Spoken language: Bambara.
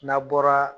N'a bɔra